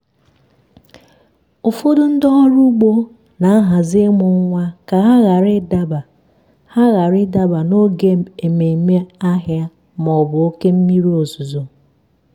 ụfọdụ ndị ọrụ ugbo na-ahazi ịmụ nwa ka ha ghara ịdaba ha ghara ịdaba n'oge ememme ahịa ma ọ bụ oké mmiri ozuzo.